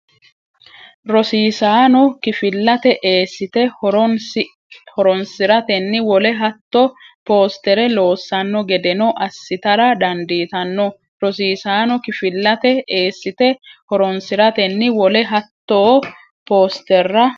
Rosiisaano kifillate eessite horonsi ratenni wole hattoo poosterra loossanno gedeno assitara dandiitanno Rosiisaano kifillate eessite horonsi ratenni wole hattoo poosterra.